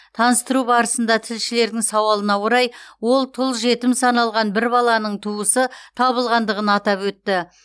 таныстыру барысында тілшілердің сауалына орай ол тұл жетім саналған бір баланың туысы табылғандығын атап өтті